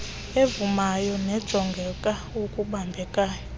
evumayo nejonga okubambekayo